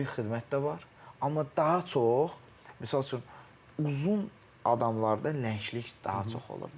Hərbi xidmət də var, amma daha çox misal üçün uzun adamlarda lənglik daha çox olur da.